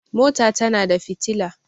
mota tana da fitila